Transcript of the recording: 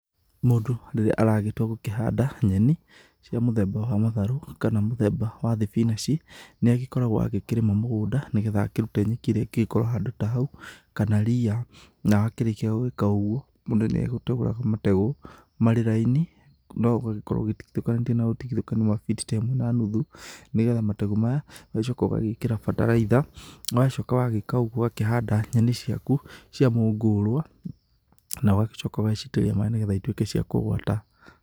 Mũndũ rĩrĩa aragĩtua gũkĩhanda nyeni cia mũthemba wa matharũ, kana mũthemba wa thibinanji nĩ agĩkoragwo agĩkĩrĩma mũgũnda, nĩgetha akĩrũte nyeki ĩrĩa ĩgĩkorwo handũ ta hau kana ria, na akĩrĩkia gwĩka ũgũo mũndũ nĩ agĩtegũraga mategũ marĩ raini no ũgĩkorwo ũtigithũkanĩtie na ũtigĩthũkanu wa biti ta ĩmwe na nuthu, nĩgetha mategũ maya ũgagĩcoka ũgagĩkĩra bataraitha, wacoka wagĩka ũgũo ũgakĩhanda nyeni ciaku cia mũngũrwa na ũgagĩcoka ũgacitĩrĩria maĩ, nĩgetha itũĩke cia kũgũata.